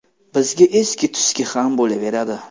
Bizga eski-tuski ham bo‘laveradi.